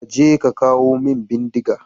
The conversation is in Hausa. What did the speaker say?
Ka je ka kawo min bindiga!